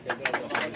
Allah kəramət versin.